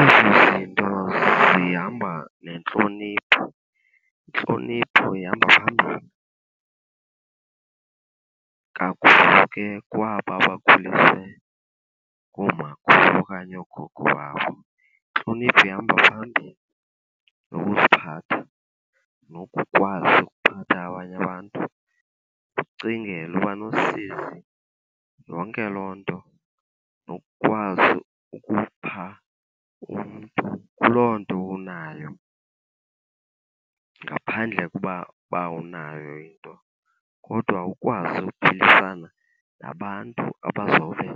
Ezi zinto zihamba nentlonipho. Intlonipho ihamba phambili kakhulu ke kwaba bakhuliswe ngoomakhulu okanye oogogo babo. Intlonipho ihamba phambili, nokuziphatha, nokukwazi ukuphatha abanye abantu. Ukucingela, uba nosizi, yonke loo nto, nokukwazi ukupha umntu kuloo nto unayo ngaphandle ukuba uba awunayo into. Kodwa ukwazi ukuphilisana nabantu abazobe